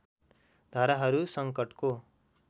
धाराहरू सङ्कटको